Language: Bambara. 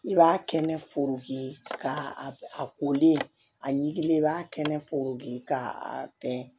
I b'a kɛnɛ foron ka a koli a ɲilen i b'a kɛnɛ foron ka a kɛ